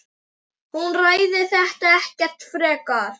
Hún ræðir þetta ekkert frekar.